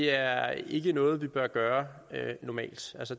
er ikke noget vi bør gøre normalt